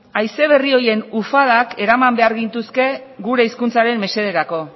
haize berri horien ufadak eraman behar gintuzke gure hizkuntzaren mesederako